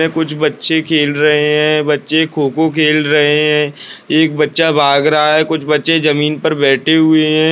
ये कुछ बच्चे खेल रहे हैं बच्चे खो-खो खेल रहे हैं एक बच्चा भाग रहा है कुछ बच्चे जमीन पर बैठे हुए है।